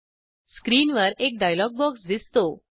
स्क्रीनवर एक dialog box दिसतो